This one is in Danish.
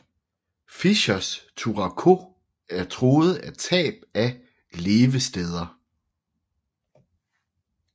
Fischers turako er truet af tab af levesteder